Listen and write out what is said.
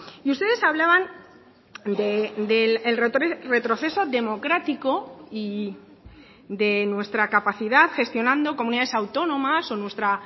y ustedes hablaban del retroceso democrático y de nuestra capacidad gestionando comunidades autónomas o nuestra